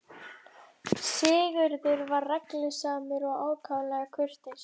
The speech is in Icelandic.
Sigurður var reglusamur og ákaflega kurteis.